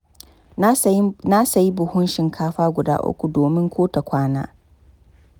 Na sayi buhun shinkafa guda uku, domin ko ta kwana.